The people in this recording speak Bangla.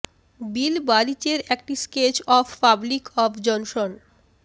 বিল বারিচ এর একটি sketch of public of Johnson